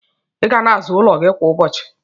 Iga na aza ụlọ gi kwa ụbọchi